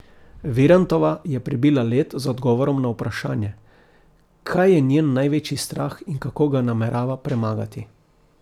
Virantova je prebila led z odgovorom na vprašanje, kaj je njen največji strah in kako ga namerava premagati.